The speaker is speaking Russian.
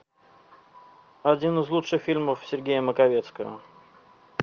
один из лучших фильмов сергея маковецкого